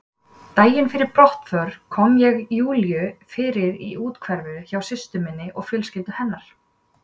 Daginn fyrir brottförina kom ég Júlíu fyrir í úthverfinu hjá systur minni og fjölskyldu hennar.